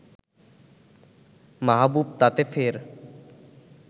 মাহবুব তাতে ফের